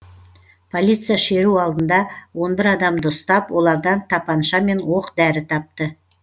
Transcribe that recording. полиция шеру алдында он бір адамды ұстап олардан тапанша мен оқ дәрі тапты